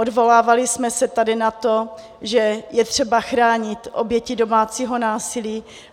Odvolávali jsme se tady na to, že je třeba chránit oběti domácího násilí.